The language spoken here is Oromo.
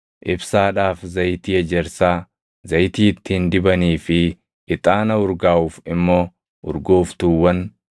ibsaadhaaf zayitii ejersaa, zayitii ittiin dibanii fi ixaana urgaaʼuuf immoo urgooftuuwwan,